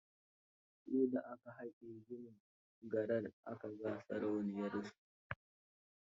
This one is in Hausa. Sai da aka hake ginin garar aka ga sarauniyarsu.